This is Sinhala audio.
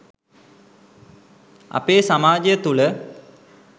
අපේ සමාජය තුළ